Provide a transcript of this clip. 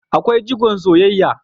Akwai jigon soyayya